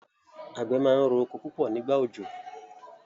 àgbẹ̀ máa ń rọ oko púpọ̀ nígbà òjò.